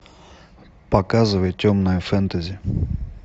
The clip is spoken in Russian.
показывай темное фэнтези